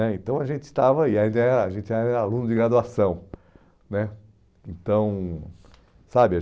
né então a gente estava aí, a gente era a gente era aluno de graduação, né, então. Sabe